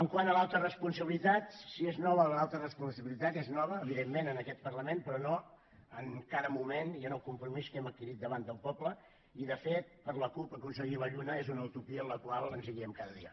quant a l’alta responsabilitat si és nova l’alta responsabilitat és nova evidentment en aquest parlament però no en cada moment i en el compromís que hem adquirit davant del poble i de fet per la cup aconseguir la lluna és una utopia en la qual ens guiem cada dia